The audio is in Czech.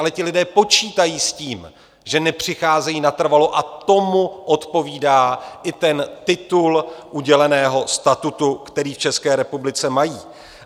Ale ti lidé počítají s tím, že nepřicházejí natrvalo, a tomu odpovídá i ten titul uděleného statutu, který v České republice mají.